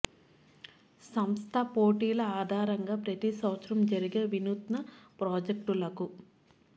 సంస్థ పోటీల ఆధారంగా ప్రతి సంవత్సరం జరిగే వినూత్న ప్రాజెక్టులకు